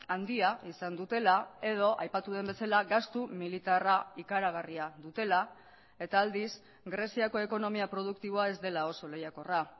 handia izan dutela edo aipatu den bezala gastu militarra ikaragarria dutela eta aldiz greziako ekonomia produktiboa ez dela oso lehiakorra